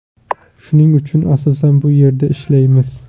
Shuning uchun asosan bu yerda ishlaymiz.